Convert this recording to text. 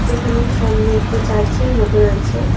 যেখানে সামনে একটা চার্চের মতোন আছে।